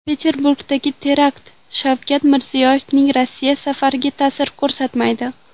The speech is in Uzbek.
Peterburgdagi terakt Shavkat Mirziyoyevning Rossiya safariga ta’sir ko‘rsatmaydi.